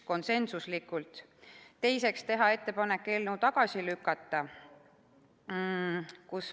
Teiseks otsustati teha ettepanek eelnõu tagasi lükata.